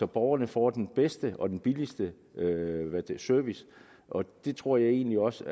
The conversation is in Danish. borgerne får den bedste og den billigste service og det tror jeg egentlig også